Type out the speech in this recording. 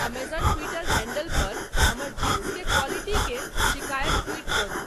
Amazon Twitter handle पर हमर jeans के क्वालिटी के शिकायत ट्वीट करू